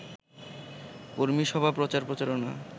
কর্মীসভা প্রচার-প্রচারণা